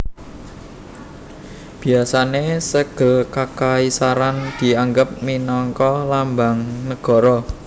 Biasané Sègel Kakaisaran dianggep minangka Lambang Nagara